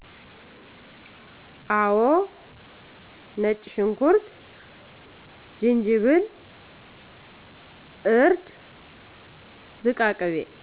አው ነጭሽኩርት ጅጅብል እርድ ዝቃቅቤ